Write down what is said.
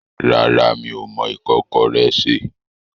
Rárá, mi ò mọ ìkọ́kọrẹ́ sè.